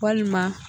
Walima